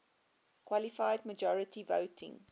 qualified majority voting